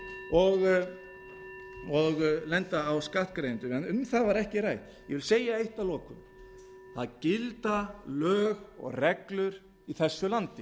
og lenda á skattgreiðendum en um það var ekki rætt ég vil segja eitt að lokum það gilda lög og reglur í þessu landi